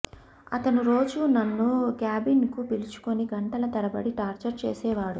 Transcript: అతను రోజూ నన్ను క్యాబిన్ కు పిలుచుకుని గంటల తరబడి టార్చర్ చేసేవాడు